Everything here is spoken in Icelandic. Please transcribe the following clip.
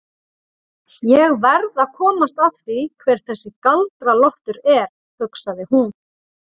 Ég verð að komast að því hver þessi Galdra-Loftur er, hugsaði hún.